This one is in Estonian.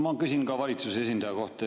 Ma küsin ka valitsuse esindaja kohta.